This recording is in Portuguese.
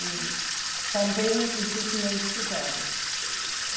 E também isso tinha estudado.